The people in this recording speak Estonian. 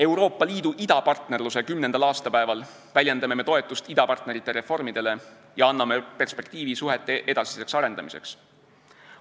Euroopa Liidu idapartnerluse kümnendal aastapäeval väljendame me toetust idapartnerite reformidele ja anname perspektiivi suhete edasiseks arendamiseks.